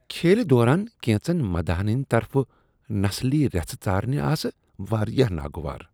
کھیلہ دوران کینٛژن مداحن ہنٛد طرفہٕ نسلی ریژھٕ ژارنہِ آسہٕ واریاہ ناگوار۔